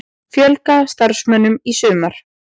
Fjölga starfsmönnum í sumar